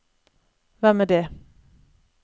hvem er det